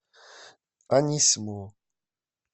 анисимову